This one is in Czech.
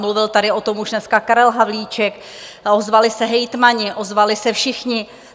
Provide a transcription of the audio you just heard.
Mluvil tady o tom už dneska Karel Havlíček, ozvali se hejtmani, ozvali se všichni.